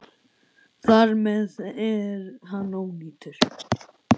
Þar með er hann ónýtur.